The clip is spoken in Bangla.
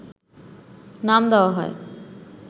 নাম দেওয়া হয়